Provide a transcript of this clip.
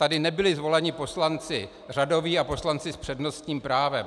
Tady nebyli zvoleni poslanci řadoví a poslanci s přednostním právem.